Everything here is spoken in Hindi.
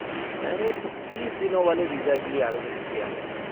मैंने तीस दिनों वाले वीज़ा के लिए आवेदन किया है।